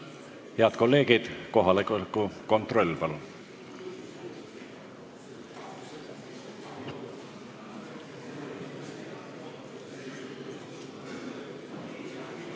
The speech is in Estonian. Head kolleegid, kohaloleku kontroll, palun!